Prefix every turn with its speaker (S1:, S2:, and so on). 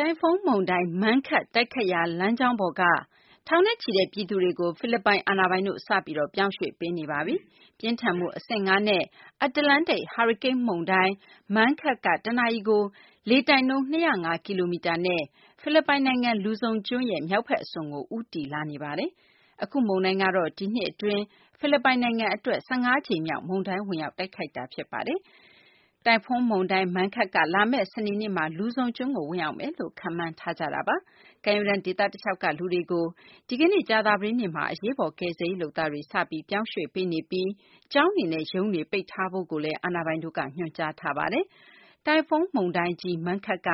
S1: တိုင်ဖွန်းမုန်တိုင်း Mangkhut တိုက်ခတ်ရာ လမ်းကြောင်းပေါ်က ထောင်နဲ့ချီတဲ့ ပြည်သူတွေကို ဖိလစ်ပိုင် အာဏာပိုင်တို့ စပြီး ပြောင်းရွှေ့ပေးနေပါပြီ။ ပြင်းထန်မှု အဆင့် ၅ နဲ့ အတ္တလန္တိတ် ဟာရီကိန်းမုန်တိုင်း Mangkhut က တနာရီကို လေတိုက်နှုန်း ၂၀၅ ကီလိုမီတာနဲ့ ဖိလစ်ပိုင်နိုင်ငံ လူဇုံကျွန်းရဲ့ မြောက်ဘက် အစွန်ကို ဦးတည်လာနေပါတယ်။ အခုမုန်တိုင်းကတော့ ဒီနှစ် အတွင်း ဖိလစ်ပိုင်နိုင်ငံ အတွက် ၁၅ ကြိမ်မြောက် မုန်တိုင်း ဝင်ရောက် တိုက်ခတ်တာ ဖြစ်ပါတယ်။ တိုင်ဖွန်း မုန်တိုင်း Mangkhut က လာမယ့် စနေနေ့မှာ လူဇုံကျွန်းကို ဝင်ရောက်လာမယ်လို့ ခန့်မှန်းထားကြပါတယ်။ ကမ်းရိုးတန်း ဒေသ တလျှောက်က လူတွေကို ဒီကနေ့ ကြာသပတေးနေ့မှာ အရေးပေါ် ကယ်ဆယ်ရေး လုပ်သားတွေ စပြီး ပြောင်းရွှေ့ပေးနေပြီး ကျောင်းတွေနဲ့ ရုံးတွေ ပိတ်ဖို့လည်း အာဏာပိုင်တို့က ညွှန်ကြားထားပါတယ်။ တိုင်ဖွန်း မုန်တိုင်းကြီး Mangkhut က